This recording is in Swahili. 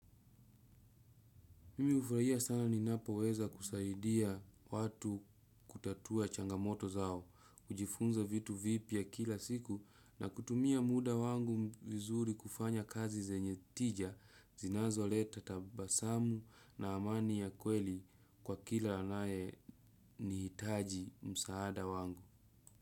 Mimi hufurahia sana ninapo weza kusaidia watu kutatua changamoto zao, kujifunza vitu vipi ya kila siku na kutumia muda wangu vizuri kufanya kazi zenye tija, zinazo leta tabasamu na amani ya kweli kwa kila anaye ni hitaji msaada wangu.